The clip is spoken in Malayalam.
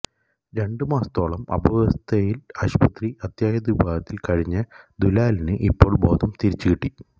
രണ്ടുമാസത്തോളം അബോധാവസ്ഥയിൽ ആസ്പത്രി അത്യാഹിതവിഭാഗത്തിൽ കഴിഞ്ഞ ദുലാലിന് ഇപ്പോൾ ബോധം തിരികെകിട്ടി